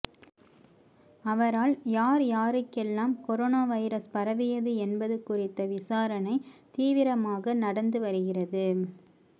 அவரால் யார் யாருக்கெல்லாம் கொரோனா வைரஸ் பரவியது என்பது குறித்த விசாரணை தீவிரமாக நடந்து வருகிறது